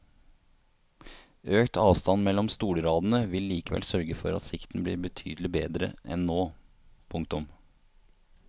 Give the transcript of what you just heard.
Økt avstand mellom stolradene vil likevel sørge for at sikten blir betydelig bedre enn nå. punktum